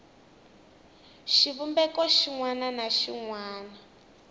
xivumbeko xin wana na xin